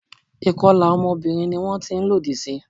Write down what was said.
Ìkọlà ọmọbìnrin ni wón ti ń lòdì sí.